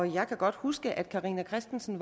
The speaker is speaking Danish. jeg kan godt huske at fru carina christensen